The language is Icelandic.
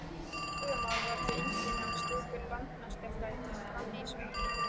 Klögumál voru því engin nema stöku landamerkjaþrætur frammi í sveitum.